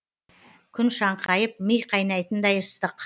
күн шаңқайып ми қайнайтындай ыстық